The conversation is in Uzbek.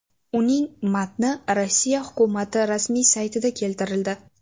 Uning matni Rossiya hukumati rasmiy saytida keltirildi .